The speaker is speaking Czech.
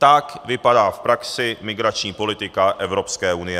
Tak vypadá v praxi migrační politika Evropské unie.